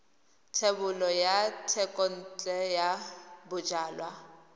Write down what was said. thebolo ya thekontle ya bojalwa